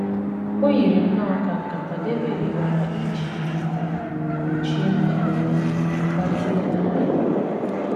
O yiri nnọọ ka nkata Devid kpara iji kpuchie mmehie ya ọ̀ gazielara ya.